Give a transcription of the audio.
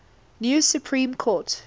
new supreme court